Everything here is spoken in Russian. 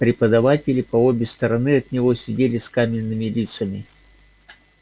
преподаватели по обе стороны от него сидели с каменными лицами